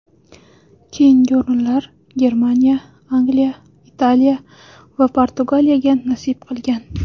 Keyingi o‘rinlar Germaniya, Angliya, Italiya va Portugaliyaga nasib qilgan.